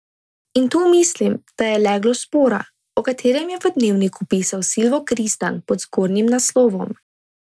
In tu mislim, da je leglo spora, o katerem je v Dnevniku pisal Silvo Kristan pod zgornjim naslovom.